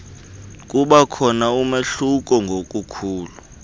kubakhona umahluko ngobukhulu